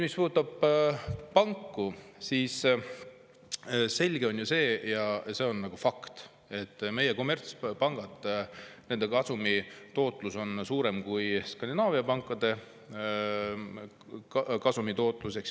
Mis puudutab panku, siis selge on ju see – ja see on fakt –, et meie kommertspankade kasumitootlus on suurem kui Skandinaavia pankade kasumitootlus.